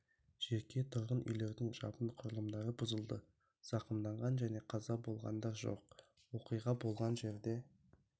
жеке тұрғын үйлердің жабын құрылымдары бұзылды зақымданған және қаза болғандар жоқ оқиға болған жерде